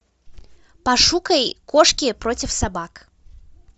пошукай кошки против собак